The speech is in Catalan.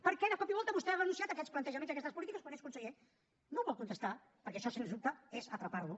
per què de cop i volta vostè ha renunciat a aquests plantejaments i a aquestes polítiques quan és conseller no vol contestar perquè això sens dubte és atrapar lo